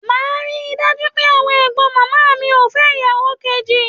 Màá ri dájú pé àwọn ẹ̀gbọ́n màmá mi ò fẹ́ ìyàwò kejì.